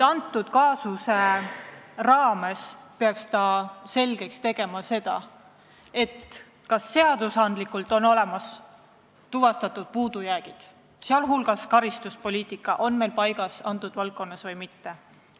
Selle kaasuse puhul peaksime selgeks tegema, kas on olemas puudujäägid seadustes ja kas karistuspoliitika valdkonnas on kõik paigas või mitte.